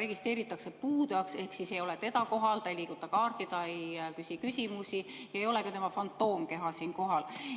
registreeritakse puudujaks, ehk siis teda ei ole kohal, ta ei liiguta kaarti, ta ei küsi küsimusi, ei ole ka tema fantoomkeha siin kohal.